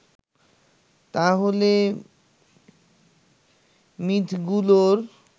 তাহলো মিথগুলোর